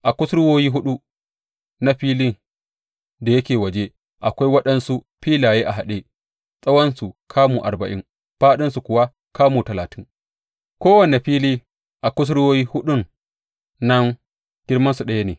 A kusurwoyi huɗu na filin da yake waje akwai waɗansu filaye a haɗe, tsawonsu kamu arba’in fāɗinsu kuwa kamu talatin; kowane fili a kusurwoyi huɗun nan girmansu ɗaya ne.